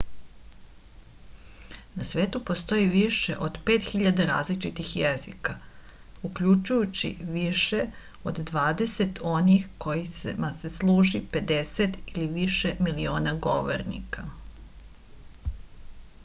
na svetu postoji više od 5000 različitih jezika uključujući više od dvadeset onih kojima se služi 50 ili više miliona govornika